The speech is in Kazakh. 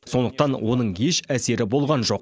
сондықтан оның еш әсері болған жоқ